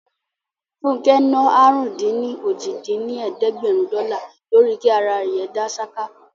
Fúnkẹ́ ná àrún-dín-ní-ojì dín ní ẹ̀ẹ́dẹ́gbẹ́rún dọ́là lórí kí ara dá ṣáká